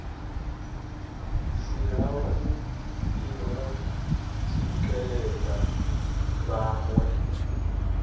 si havhuḓi ho tsikeledza vhaṋwe